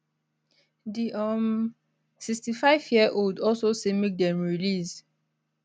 di um 65yearold also say make dem release